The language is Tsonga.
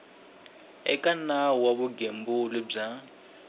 eka nawu wa vugembuli bya